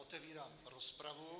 Otevírám rozpravu.